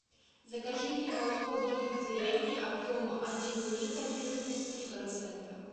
закажи мне молоко домик в деревне объем один литр жирность три процента